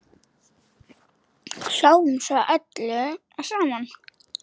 Hlógum svo að öllu saman.